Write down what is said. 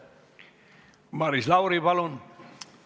Maris Lauri, palun!